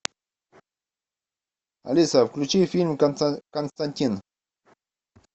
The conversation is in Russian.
алиса включи фильм константин